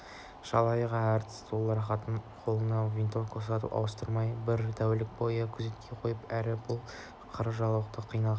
шалағай әртісі ол рахаттана қолына винтовка ұстатып ауыстырмай бір тәулік бойы күзетке қойып әрі бұл қыр жалқаудың қиналғанын